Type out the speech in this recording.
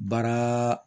Baara